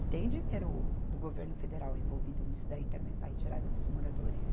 E tem dinheiro do governo federal envolvido nisso daí também, para a retirada dos moradores.